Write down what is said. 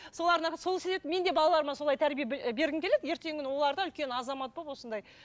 солардың арқасы сол себепті мен де балаларыма солай тәрбие бергім келеді ертеңгі күні олар да үлкен азамат болып осындай